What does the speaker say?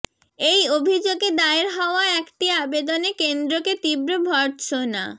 এই অভিযোগে দায়ের হওয়া একটি আবেদনে কেন্দ্রকে তীব্র ভর্ত্সনা